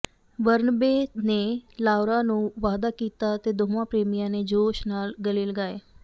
Barnaby ਨੇ Laura ਨੂੰ ਵਾਅਦਾ ਕੀਤਾ ਅਤੇ ਦੋਵਾਂ ਪ੍ਰੇਮੀਆਂ ਨੇ ਜੋਸ਼ ਨਾਲ ਗਲੇ ਲਗਾਏ